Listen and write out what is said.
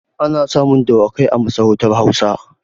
Ana samun dawakai a masarautar Hausawa.